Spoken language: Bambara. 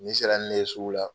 sera ni ne ye sugu la